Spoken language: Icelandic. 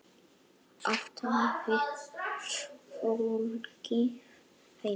Að tala við fólkið heima.